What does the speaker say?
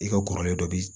I ka kɔrɔlen dɔ bi